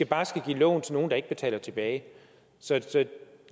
bare skal give lån til nogle der ikke betaler dem tilbage så